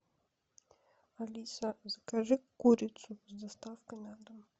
алиса закажи курицу с доставкой на дом